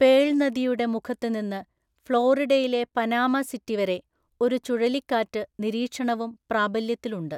Pearl നദിയുടെ മുഖത്ത് നിന്ന് ഫ്ലോറിഡയിലെ പനാമ സിറ്റി വരെ ഒരു ചുഴലിക്കാറ്റ് നിരീക്ഷണവും പ്രാബല്യത്തിൽ ഉണ്ട്.